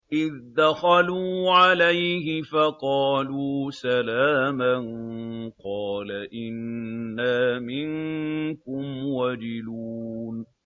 إِذْ دَخَلُوا عَلَيْهِ فَقَالُوا سَلَامًا قَالَ إِنَّا مِنكُمْ وَجِلُونَ